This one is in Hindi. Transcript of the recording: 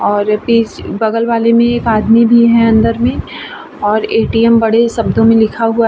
और पि बगल वाले मे एक आदमी भी है अंदर मे और ए.टी.एम. बड़े शब्दो मे लिखा हुआ --